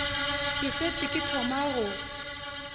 ke šetše ke thoma go